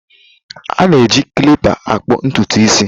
A na eji klịpa akpụ ntụtụ isi.